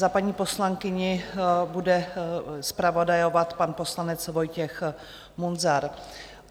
Za paní poslankyni bude zpravodajovat pan poslanec Vojtěch Munzar.